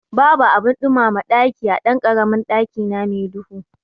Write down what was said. Babu abin ɗumama ɗaki a ɗankaramin ɗakina me duhu